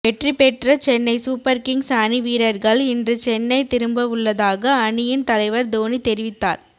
வெற்றி பெற்ற Chennai Super Kings அணி வீரர்கள் இன்று சென்னை திரும்பவுள்ளதாக அணியின் தலைவர் தோனி தெரிவித்தார்